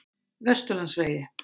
Vesturlandsvegi